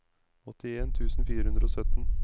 åttien tusen fire hundre og sytten